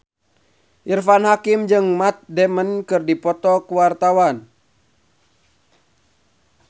Irfan Hakim jeung Matt Damon keur dipoto ku wartawan